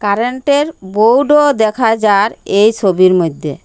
কারেন্টের বোর্ডও দেখা যার এই ছবির মইদ্যে।